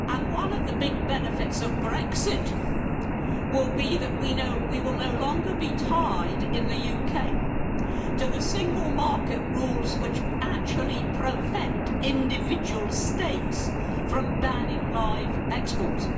One of the big benefits of Brexit will be that we will no longer be tied in the UK to the single market rules which actually prevent individual States from banning live exports.